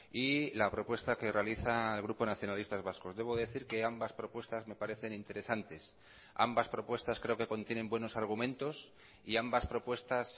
y la propuesta que realiza el grupo nacionalistas vascos debo decir que ambas propuestas me parecen interesantes ambas propuestas creo que contienen buenos argumentos y ambas propuestas